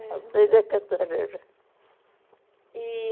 Avenida Cantareira. E...